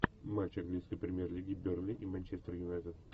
матч английской премьер лиги бернли и манчестер юнайтед